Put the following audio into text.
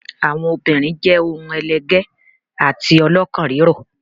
Àwọn obìnrin jẹ́ ohun ẹlẹgẹ́ àti ọlọ́kàn rírọ̀.